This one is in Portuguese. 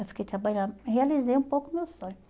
Eu fiquei trabalhando, e realizei um pouco o meu sonho.